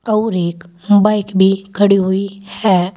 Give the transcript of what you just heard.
अउर एक बाइक भी खड़ी हुई है।